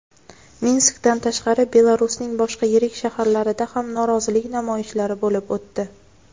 Minskdan tashqari Belarusning boshqa yirik shaharlarida ham norozilik namoyishlari bo‘lib o‘tdi.